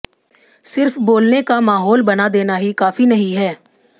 सिर्फ बोलने का माहौल बना देना ही काफी नहीं है